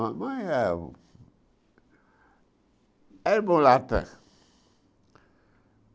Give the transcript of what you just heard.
A mãe é... Era mulata.